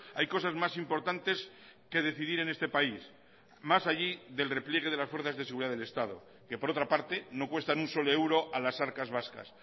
hay cosas más importantes que decidir en este país más allí del repliegue de las fuerzas de seguridad del estado que por otra parte no cuestan un solo euro a las arcas vascas